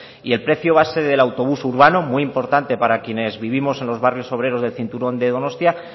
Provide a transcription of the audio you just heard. y el precio base del autobús urbano muy importante para quienes vivimos en los barrios obreros del cinturón de donostia